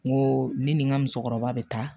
N ko ne ni n ka musokɔrɔba bɛ taa